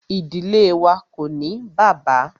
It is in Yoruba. Ìdílé wá ko ní bàbá.